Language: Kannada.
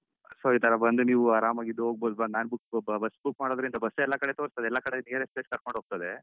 So ಇತರ ಬಂದ್ ನೀವು ಆರಾಮಗಿದ್ದುಹೋಗ್ಬಹುದು ನಾನ್ book bus book ಮಾಡಿದ್ರೇನಂತ bus ಏ ಎಲ್ಲಕಡೆ ತೋರಿಸ್ತದೆ ಎಲ್ಲ ಕಡೆ nearest places ಕರ್ಕೊಂಡ್ ಹೋಗ್ತದೆ.